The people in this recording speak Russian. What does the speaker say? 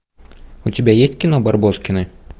у тебя есть кино барбоскины